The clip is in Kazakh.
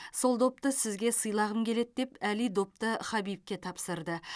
сол допты сізге сыйлағым келеді деп әли допты хабибке тапсырды